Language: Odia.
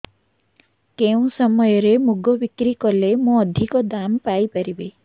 କେଉଁ ସମୟରେ ମୁଗ ବିକ୍ରି କଲେ ମୁଁ ଅଧିକ ଦାମ୍ ପାଇ ପାରିବି